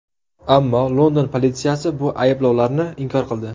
Ammo London politsiyasi bu ayblovlarni inkor qildi .